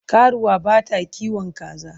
Karuwa bata kiwon kaza.